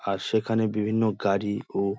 আর সেখানে বিভিন্ন গাড়ি ও --